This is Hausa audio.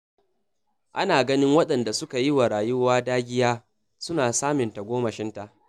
Ana ganin waɗanda suke yi wa rayuwa dagiya, suna samun tagomashinta.